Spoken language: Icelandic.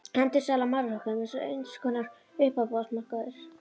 Endursala á málverkum er eins konar uppboðsmarkaður.